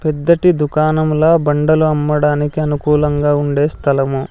పెద్దటి దుకాణంలో బండలు అమ్మడానికి అనుకూలంగా ఉండే స్థలము.